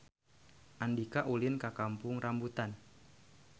Andika ulin ka Kampung Rambutan